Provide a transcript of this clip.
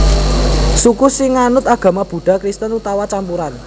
Suku sing nganut agama Buddha Kristen utawa campuran